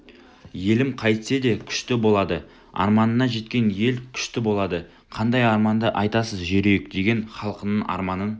елім қайтсе күшті болады арманына жеткен ел күшті болады қандай арманды айтасыз жерүйек деген халқыңның арманын